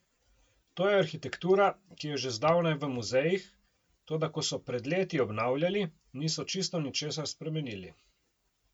To je arhitektura, ki je že zdavnaj v muzejih, toda ko so pred leti obnavljali, niso čisto ničesar spremenili!